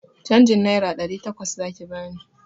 Canjin naira ɗari takwas zaki bani!